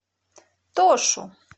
тошу